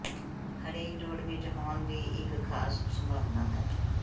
ਹਰੇਕ ਜੋੜ ਵਿੱਚ ਹੋਣ ਦੀ ਇੱਕ ਖਾਸ ਸੰਭਾਵਨਾ ਹੈ